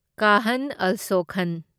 ꯀꯥꯍꯟ ꯑꯜꯁꯣ ꯈꯟ